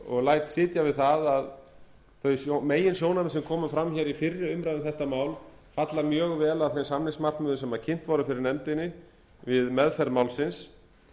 og læt sitja við það að þau meginsjónarmið sem komu fram hér í fyrri umræðu um þetta mál falla mjög vel að þeim samningsmarkmiðum sem kynnt voru fyrir nefndinni við meðferð málsins